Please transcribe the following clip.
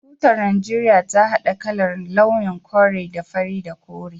Tutar Najeriya ta hada kalar/launin kore da fari da kore